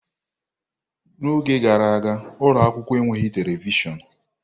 N'oge gara aga, ụlọ akwụkwọ enweghị telivishọn.